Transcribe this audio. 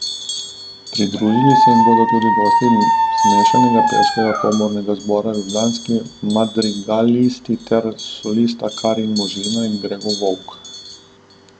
Pridružili se jim bodo tudi gostje iz Mešanega pevskega komornega zbora Ljubljanski madrigalisti ter solista Karin Možina in Gregor Volk.